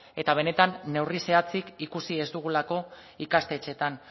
eta benetan neurri zehatzik ikusi ez dugulako ikastetxeetan